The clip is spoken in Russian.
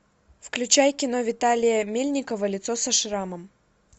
включай кино виталия мельникова лицо со шрамом